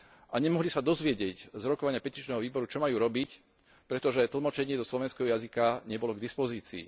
a nemohli sa dozvedieť z rokovania petičného výboru, čo majú robiť, pretože tlmočenie do slovenského jazyka nebolo k dispozícii.